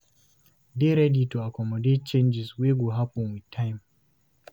Dey ready to accomodate changes wey go happen with time